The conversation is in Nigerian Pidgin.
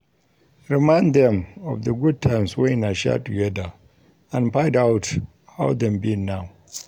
Remind them of the good times wey una share together and find out how dem be now